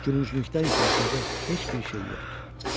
Gülünclükdən isə aşağı heç bir şey yoxdur.